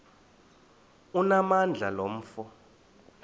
onamandla lo mfo